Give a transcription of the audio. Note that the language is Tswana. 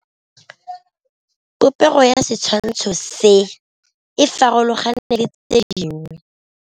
Popêgo ya setshwantshô se, e farologane le tse dingwe.